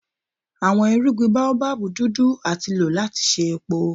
Awọn irugbin Baobab dudu ati lo lati ṣe epo.